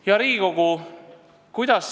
Hea Riigikogu!